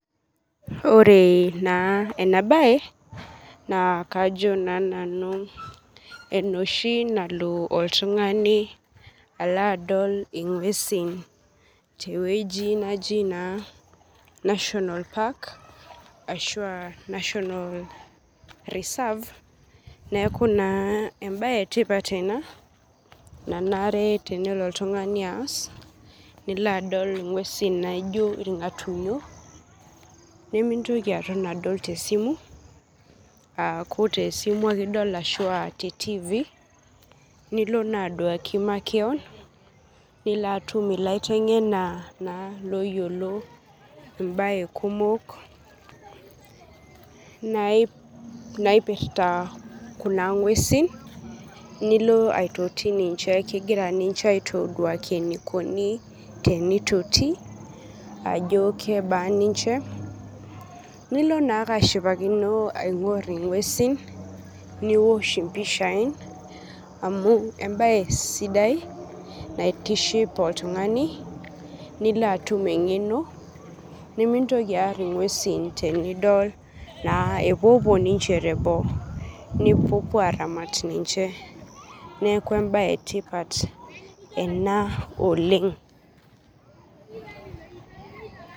ore na ena bae na kajo na nanu enoshi nalo oltungani adol alo ingwesin. teweuji naji na national park ashu aa national reserve niaku naa ebae etipat ena nanare tenelo oltungani ass. nilo adol ingwesin naijio ilngatunyo nemintoki aton adol tesimu, aku tesimu ake edol ashu te tv,nilo na aduaki makewon nilo na atum ilaitengena, na oyiolo embae kumok naipirta kuna ngwesin nilo aitoti ninche ,kingira ninche aitoduaki enaikoni tenitoti, ajo kebaa ninche nilo na ake ashipakino aingor ingwesin niosh impishai, amu embae sidai naitiship oltungani nilo atum engeno nemintoki ar ingwesin tenidol na ninche epuo puo tebo. nipuo opuo aramat ninche niaku embae etipata na ena oleng.